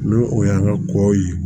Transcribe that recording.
N'o o y'an ka kɔ ye